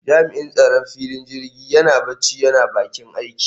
Jami'in tsaron filin jirgin yana barci yana bakin aiki